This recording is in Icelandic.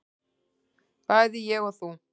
bæði ég og þú.